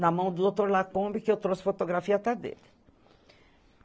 Na mão do doutor Lacombe, que eu trouxe fotografia até dele.